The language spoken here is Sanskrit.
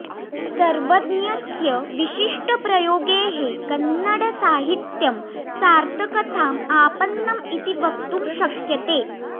सर्वज्ञस्य विशिष्टप्रयोगैः कन्नडसाहित्यं सार्थकथाम् आपन्नम् इति वक्तुं शक्यते